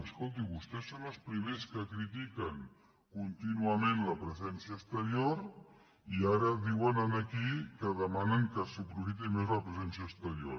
escolti vostès són els primers que critiquen contínuament la presència exterior i ara diuen aquí que demanen que s’aprofiti més la presència exterior